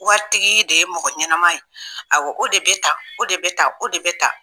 Waritigi de ye mɔgɔ ɲɛnama ye awɔ o de bɛ tan o de bɛ tan o de bɛ tan